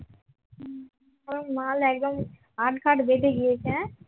ও মাল একদম আটঘাট বেঁধে গিয়েছে হ্যাঁ